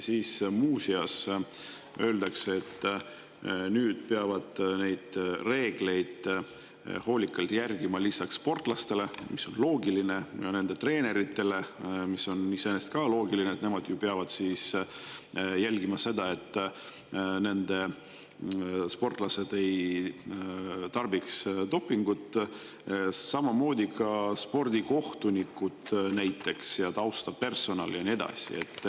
Muu seas öeldakse, et neid reegleid peavad hoolikalt järgima lisaks sportlastele, mis on loogiline, ja nende treeneritele, mis on ka loogiline – nemad ju peavad jälgima, et nende sportlased ei kasutaks dopingut –, samuti spordikohtunikud ja taustapersonal ja nii edasi.